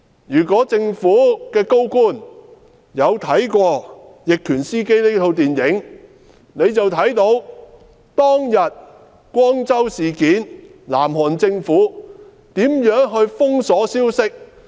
如果政府高官看過"逆權司機"這齣電影，就會知道"光州事件"中，南韓政府如何封鎖消息。